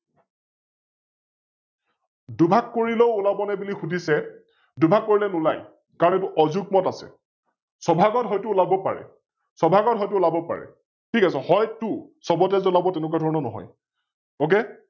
দুভাগ কৰিলেও ওলাব নে বুলি বুলি শুধিছে? দুভাগ কৰিলে নোলাই, কাৰন এ ইতো অযুগ্মত আছে । ছ-ভাগত হয়তো ওলাব পাৰে । ছ-ভাগত হয়তো ওলাব পাৰে । ঠিক আছে, হয়তো, সৱতে যে ওলাব তেনেকোৱা ধৰণৰ নহয় Ok